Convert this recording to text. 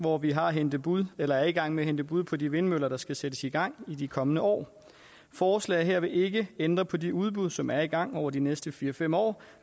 hvor vi har hentet bud eller er i gang med at hente bud på de vindmøller der skal sættes i gang i de kommende år forslaget her vil ikke ændre på de udbud som er i gang over de næste fire fem år